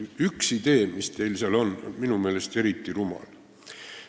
Üks idee, mis teil seal on, on minu meelest eriti rumal.